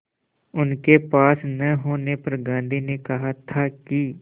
उनके पास न होने पर गांधी ने कहा था कि